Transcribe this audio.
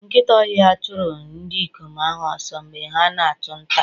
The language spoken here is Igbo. Nkịta ọhịa chụrụ ndị ikom ahụ ọsọ mgbe ha na-achụ nta.